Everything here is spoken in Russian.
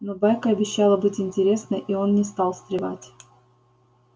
но байка обещала быть интересной и он не стал встревать